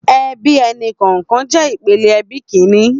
Èbí ẹni kọọkàn jè ipélé èbí kìní